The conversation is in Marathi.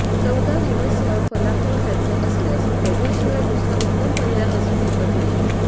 चवदार हमससह फलाफल खायचं असल्यास या कॅफेशिवाय दुसरा उत्तम पर्याय असूच शकत नाही